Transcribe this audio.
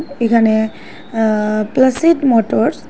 এখানে আ plastid motors --